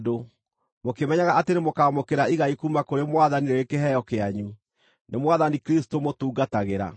mũkĩmenyaga atĩ nĩmũkaamũkĩra igai kuuma kũrĩ Mwathani rĩrĩ kĩheo kĩanyu. Nĩ Mwathani Kristũ mũtungatagĩra.